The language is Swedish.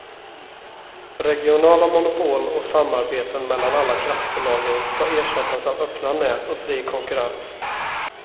Regionala monopol och samarbete mellan alla kraftbolagen ska ersättas av öppna nät och fri konkurrens.